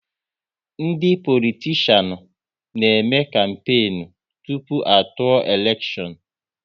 Ndị politishan na eme kampenu tụpụ a tụọ elekshon